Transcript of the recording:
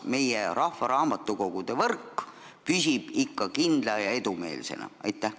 Kas meie rahvaraamatukogude võrk püsib ikka kindla ja edumeelsena?